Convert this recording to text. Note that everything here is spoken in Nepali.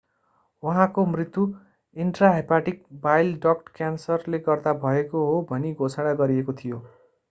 उहाँको मृत्यु इन्ट्राहेपाटिक बाइल डक्ट क्यान्सरले गर्दा भएको हो भनी घोषणा गरिएको थियो